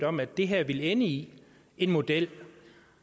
om at det her ville ende i en model